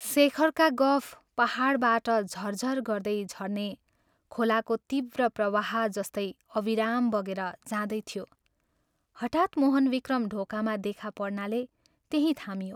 शेखरका गफ पाहाडबाट झर झर गर्दै झर्ने खोलाको तीव्र प्रवाह जस्तै अविराम बगेर जाँदै थियो, हठात् मोहनविक्रम ढोकामा देखा पर्नाले त्यहीं थामियो।